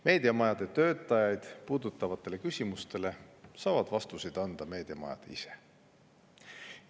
Meediamajade töötajaid puudutavatele küsimustele saavad vastuseid anda meediamajad ise.